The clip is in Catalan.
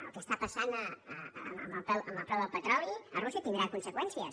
el que està passant amb el preu del petroli a rússia tindrà conseqüències